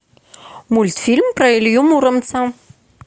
мультфильм про илью муромца